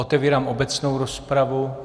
Otevírám obecnou rozpravu.